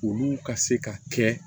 Olu ka se ka kɛ